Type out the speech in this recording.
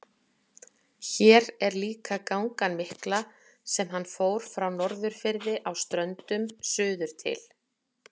Hér er líka gangan mikla sem hann fór frá Norðurfirði á Ströndum suður til